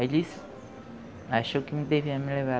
Ele achou que me devia me levar.